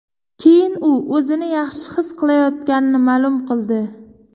Keyin u o‘zini yaxshi his qilayotganini ma’lum qildi.